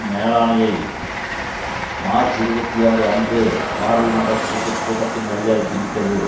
மேலாணையை March இருபத்தி ஆறு அன்று பாராளுமன்ற கூட்டு கூட்டத்தின் வழியாக திணித்தது